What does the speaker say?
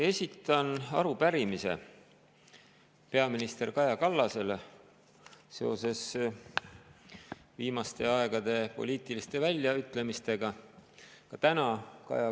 Esitan arupärimise peaminister Kaja Kallasele viimaste aegade poliitiliste väljaütlemiste kohta.